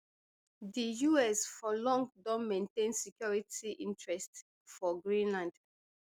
di us for long don maintain security interest for greenland